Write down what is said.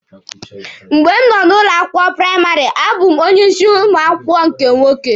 Mgbe m nọ ụlọ akwụkwọ praịmarị, a bụ mụ onye isi ụmụ akwụkwọ nke nwoke.